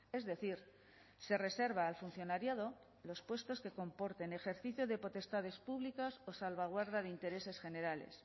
es decir se reserva al funcionariado los puestos que comporten ejercicio de potestades públicas o salvaguarda de intereses generales